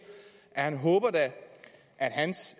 at han da håber at hans